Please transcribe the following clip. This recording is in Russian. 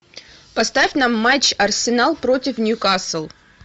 поставь нам матч арсенал против ньюкасл